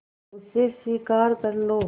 उसे स्वीकार कर लो